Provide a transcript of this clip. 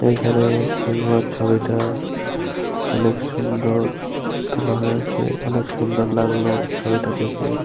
এইখানে সিলভার ছবিটা অনেক সুন্দর তোলা হয়েছে। অনেক সুন্দর লাগলো ছবিটা দেখে।